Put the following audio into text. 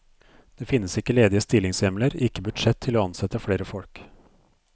Det finnes ikke ledige stillingshjemler, ikke budsjett til å ansette flere folk.